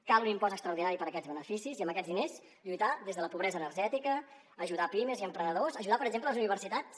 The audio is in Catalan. cal un impost extraordinari per a aquests beneficis i amb aquests diners lluitar des de la pobresa energètica ajudar pimes i emprenedors ajudar per exemple les universitats